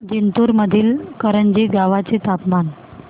जिंतूर मधील करंजी गावाचे तापमान